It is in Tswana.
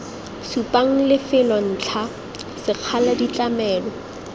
supang lefelo ntlha sekgala ditlamelo